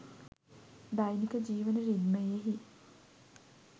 දෛනික ජීවන රිද්මයෙහි